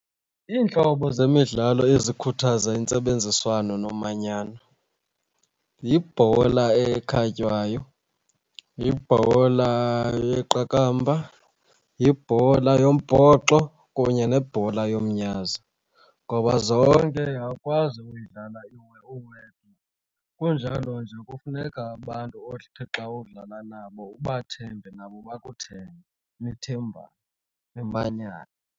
Iintlobo zemidlalo ezikhuthaza intsebenziswano nomanyano yibhola ekhatywayo, yibhola yeqakamba, yibhola yombhoxo kunye nebhola yomnyazi ngoba zonke awukwazi uyidlala uwedwa. Kunjalo nje kufuneka abantu othe xa udlala nabo ubathembe nabo bakuthembe, nithembane, nimanyane.